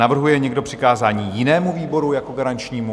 Navrhuje někdo přikázání jinému výboru jako garančnímu?